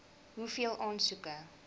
hoeveel aansoeke